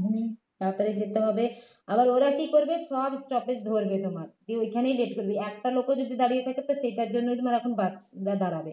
হম তাড়াতাড়ি যেতে হবে আবার ওরা কী করবে সব stoppage ধরবে তোমার দিয়ে ওখানেই late করবে একটা লোকও যদি দাঁড়িয়ে থাকে তো সেটার জন্যই তোমার এখন bus টা দাঁড়াবে